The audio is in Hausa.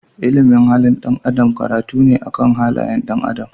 Ilimin halin dan Adam karatu ne akan halayen ɗan adam.